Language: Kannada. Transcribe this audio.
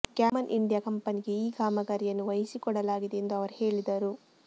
ಗ್ಯಾಮನ್ ಇಂಡಿಯಾ ಕಂಪನಿಗೆ ಈ ಕಾಮಗಾರಿಯನ್ನು ವಹಿಸಿಕೊಡಲಾಗಿದೆ ಎಂದು ಅವರು ಹೇಳಿದರು